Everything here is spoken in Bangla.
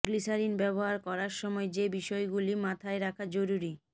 গ্লিসারিন ব্যবহার করার সময় যে বিষয়গুলি মাথায় রাখা জরুরি